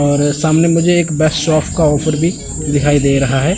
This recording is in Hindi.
और सामने मुझे एक बेस्ट ऑफ का ऑफर भी दिखाई दे रहा है।